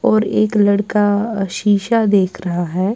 .اور ایک لڑکا ا شیشہ دیکھ رہا ہیں